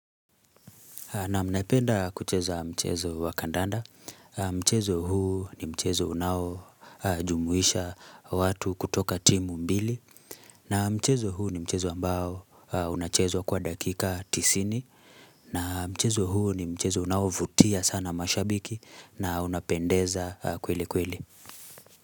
Nam naipenda kucheza mchezo wa kandanda, mchezo huu ni mchezo unao jumuhisha watu kutoka timu mbili na mchezo huu ni mchezo ambao unachezwa kwa dakika tisini na mchezo huu ni mchezo unaovutia sana mashabiki na unapendeza kweli kweli.